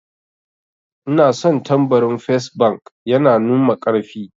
Ina son tambarin fes bank, yana numa karfi